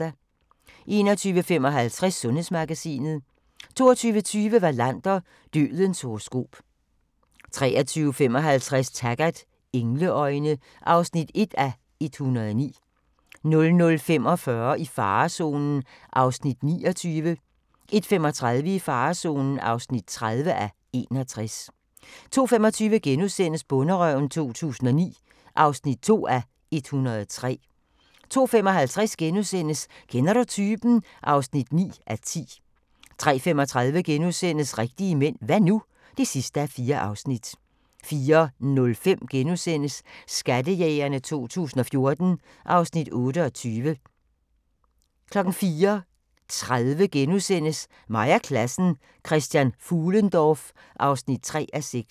21:55: Sundhedsmagasinet 22:20: Wallander: Dødens horoskop 23:55: Taggart: Engleøjne (1:109) 00:45: I farezonen (29:61) 01:35: I farezonen (30:61) 02:25: Bonderøven 2009 (2:103)* 02:55: Kender du typen? (9:10)* 03:35: Rigtige mænd – hva' nu? (4:4)* 04:05: Skattejægerne 2014 (Afs. 28)* 04:30: Mig og klassen: Christian Fuhlendorff (3:6)*